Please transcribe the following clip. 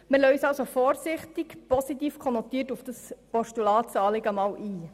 Wir lassen uns also vorsichtig positiv konnotiert auf dieses Postulatsanliegen ein.